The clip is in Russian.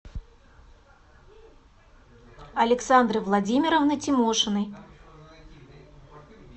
александры владимировны тимошиной